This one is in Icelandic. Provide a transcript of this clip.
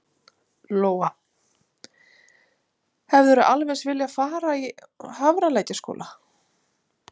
Lóa: Hefðirðu alveg eins viljað fara í Hafralækjarskóla?